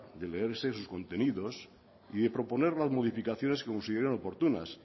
de leerse sus contenidos y de proponer unas modificaciones que consideren oportunas